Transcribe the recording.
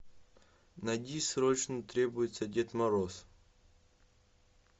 найди срочно требуется дед мороз